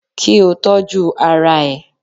Kí o tọ́jú ara ẹ